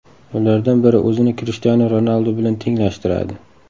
Ulardan biri o‘zini Krishtianu Ronaldu bilan tenglashtiradi.